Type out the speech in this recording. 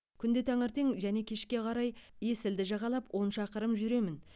күнде таңертең және кешке қарай есілді жағалап он шақырым жүремін